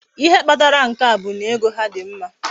Ihe Kpatara nke a bu na ego ha di mma